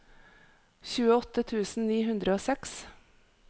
tjueåtte tusen ni hundre og seks